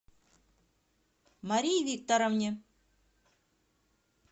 марии викторовне